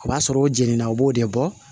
O b'a sɔrɔ o jenini na o b'o de bɔ